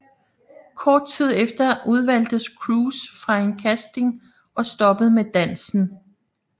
Kort tid efter udvalgtes Cruz fra en casting og stoppede med dansen